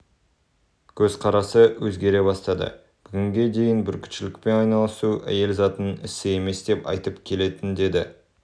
көзқарасы өзгере бастады бүгінге дейін бүркітшілікпен айналысу әйел затының ісі емес деп айтып келетін деді